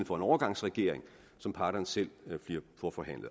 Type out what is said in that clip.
for en overgangsregering som parterne selv får forhandlet